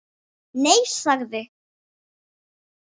Nei- sagði